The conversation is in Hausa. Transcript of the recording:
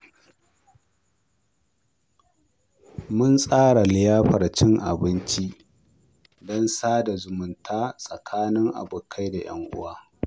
Mun tsara liyafar cin abinci don sada zumunta tsakanin abokai da ƴan uwa.